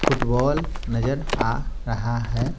Football नजर आ रहा है।